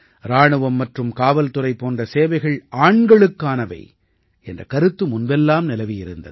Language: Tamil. இராணுவம் மற்றும் காவல்துறை போன்ற சேவைகள் ஆண்களுக்கானவை என்ற கருத்து முன்பெல்லாம் நிலவியிருந்தது